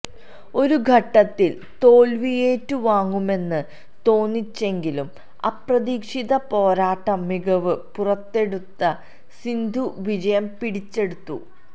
ഒരുഘട്ടത്തിൽ തോൽവിയേറ്റു വാങ്ങുമെന്ന് തോന്നിച്ചെങ്കിലും അപ്രതീക്ഷിത പോരാട്ട മികവ് പുറത്തെടുത്ത സിന്ധു വിജയം പിടിച്ചെടുത്തു